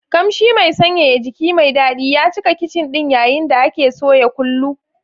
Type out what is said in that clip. Kamshi mai sanyaya jiki mai daɗi ya cika kicin ɗin yayin da ake soya kullu.